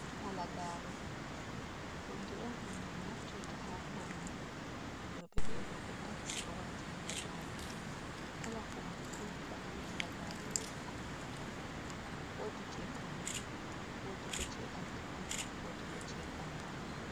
Halagare hunde on ɗum min naftirta ha paune worɓe be rooɓe pat ɗo wata halagare. Kala hondu fu to a yi halagare wodi ko nufata wodi jei paune wodi bo jei alkawal wodi bo jei ɓangal.